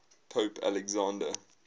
pope alexander